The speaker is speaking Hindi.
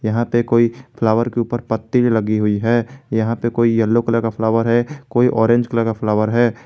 यहां पे कोई फ्लावर के ऊपर पत्ती भी लगी हुई है यहां पर कोई येलो कलर का फ्लावर है कोई ऑरेंज कलर का फ्लावर है।